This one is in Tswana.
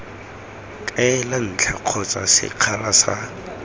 kaela ntlha kgotsa sekgala sa